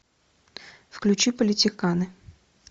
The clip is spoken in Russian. включи политиканы